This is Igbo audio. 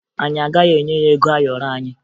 Anyị agaghị enye ya ego ayọrọ anyị